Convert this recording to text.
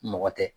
Mɔgɔ tɛ